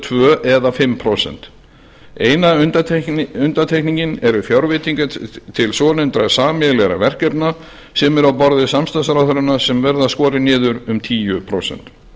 tvö eða fimm prósent eina undantekningin eru fjárveitingar til svonefndra sameiginlegra verkefna sem eru á borði samstarfsráðherranna sem verða skorin niður um tíu prósent